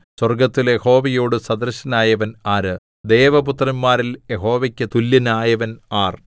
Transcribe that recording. സ്വർഗ്ഗത്തിൽ യഹോവയോട് സദൃശനായവൻ ആര് ദേവപുത്രന്മാരിൽ യഹോവയ്ക്ക് തുല്യനായവൻ ആർ